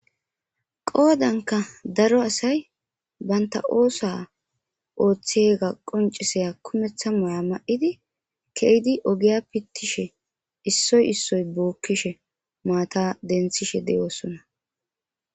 Qoodanka daro asay banta oosa ooththega qonciseya kumeththa moya ma'idi keydi ogiya pittishe issoy issoy bookkishe maata denthishe deyoossona